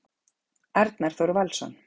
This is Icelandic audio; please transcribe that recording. Arnar Þór Valsson